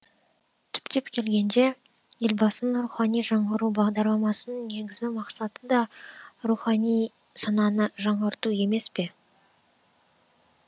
түптеп келгенде елбасының рухани жаңғыру бағдарламасының негізі мақсаты да рухани сананы жаңғырту емес пе